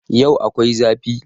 Yau akwai zafi